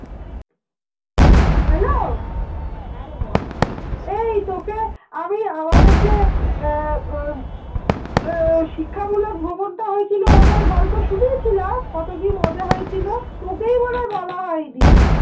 এই তোকে আমি আমাদের যে আহ শিক্ষামূলক ভ্রমণটা হয়েছিল ওটার গল্প শুনিয়ে ছিলাম কত কি মজা হয়েছিল তোকেই মনে হয়ে বলা হয়নি